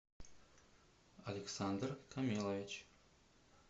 александр камилович